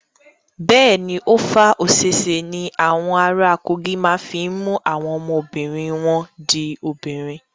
Bẹ́ẹ̀ ni, Ova Osese ní awọn ara Kogi máa fi mú àwọn ọmọbìnri wọn di obìnrin.